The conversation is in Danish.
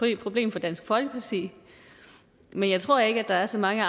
et problem for dansk folkeparti men jeg tror ikke der er så mange